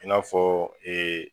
I n'a fɔ